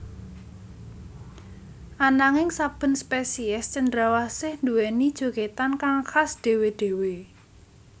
Ananging saben spesiés cendrawasih nduwèni jogètan kang khas dhéwé dhéwé